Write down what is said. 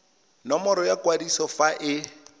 nomoro ya kwadiso fa e